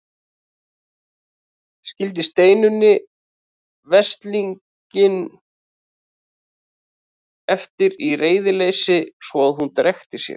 Skildi Steinunni veslinginn eftir í reiðileysi svo að hún drekkti sér.